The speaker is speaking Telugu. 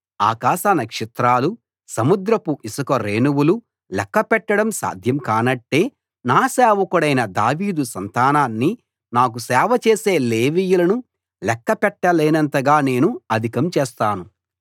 ఆకాశ నక్షత్రాలు సముద్రపు ఇసుక రేణువులు లెక్కపెట్టడం సాధ్యం కానట్టే నా సేవకుడైన దావీదు సంతానాన్ని నాకు సేవ చేసే లేవీయులను లెక్క పెట్టలేనంతగా నేను అధికం చేస్తాను